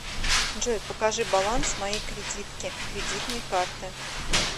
джой покажи баланс моей кредитки кредитной карты